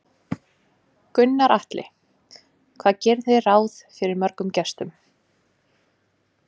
Gunnar Atli: Hvað gerið þið ráð fyrir mörgum gestum?